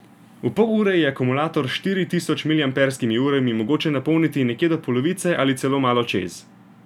V pol ure je akumulator s štiri tisoč miliamperskimi urami mogoče napolniti nekje do polovice ali celo malo čez.